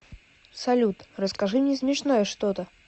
салют расскажи мне смешное что то